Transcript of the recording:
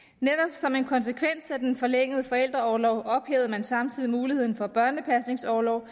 som en konsekvens af den forlængede forældreorlov ophævede man samtidig muligheden for børnepasningsorlov